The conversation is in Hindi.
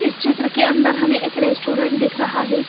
इस चित्र के अंदर हमें एक रेस्टोरेंट दिख रहा है।